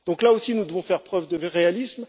Là aussi, nous devons faire preuve de réalisme.